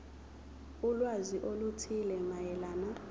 ulwazi oluthile mayelana